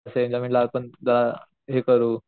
तश्या एक्ससाइटमेन्ट ला जरा हे करू